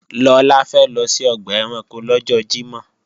Lọlá fẹ́ lọ sí ọgbà ẹranko lọ́jọ́ Jímọ̀